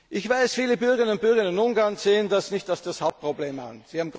Ich weiß, viele Bürgerinnen und Bürger Ungarns sehen das nicht als das Hauptproblem